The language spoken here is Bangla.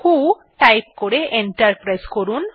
ভো টাইপ করে এন্টার প্রেস করুন